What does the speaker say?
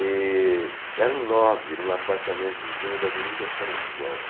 E era um nove em um apartamentozinho da Avenida São João.